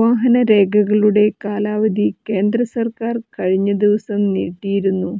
വാഹനരേഖകളുടെ കാലാവധി കേന്ദ്രസർക്കാർ കഴിഞ്ഞ ദിവസം നീട്ടിയിരുന്നു